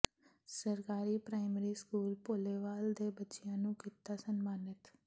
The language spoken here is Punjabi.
ਸਰਕਾਰੀ ਪ੍ਰਾਇਮਰੀ ਸਕੂਲ ਭੋਲੇਵਾਲ ਦੇ ਬੱਚਿਆਂ ਨੂੰ ਕੀਤਾ ਸਨਮਾਨਿਤ